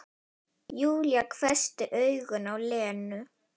Júlía hvessti augun á Lenu.